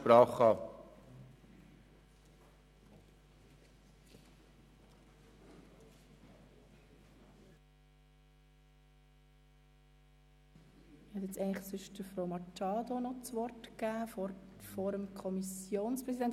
Nun möchte ich eigentlich Grossrätin Machado das Wort erteilen und danach dem Kommissionspräsidenten.